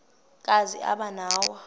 kazi aba nawo